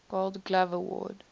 gold glove award